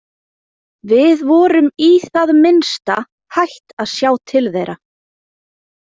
Við vorum í það minnsta hætt að sjá til þeirra.